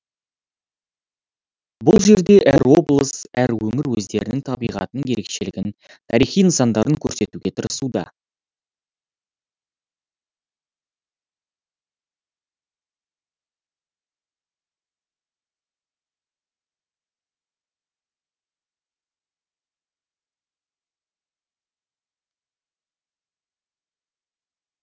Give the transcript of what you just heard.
бұл жерде әр облыс әр өңір өздерінің табиғатының ерекшелігін тарихи нысандарын көрсетуге тырысуда